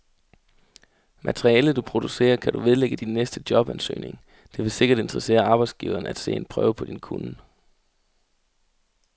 Materialet, du producerer, kan du vedlægge din næste jobansøgning, det vil sikkert interessere arbejdsgiveren at se en prøve på din kunnen.